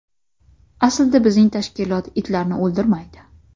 Aslida bizning tashkilot itlarni o‘ldirmaydi.